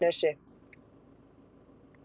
Einarsnesi